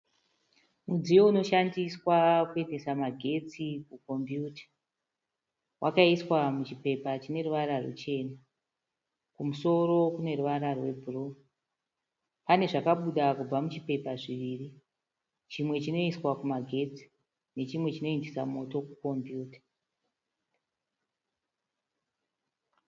Mudziyo unoshandiswa kuendesa magetsi kukombiyuta. Wakaiswa muchipepa chineruvara rwuchena kumusoro kuneruvara rwebhuruu. Pane zvakabuda kubva muchipepa zviviri, chimwe chinoiswa kumagetsi nechimwe chinoindisa moto kukombiyuta.